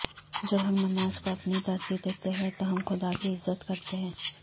جب ہم نماز کو اپنی ترجیح دیتے ہیں تو ہم خدا کی عزت کرتے ہیں